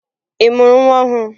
Ị mụrụ nwa ọhụrụ?